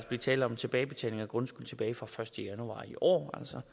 blive tale om tilbagebetaling af grundskyld tilbage fra den første januar i år altså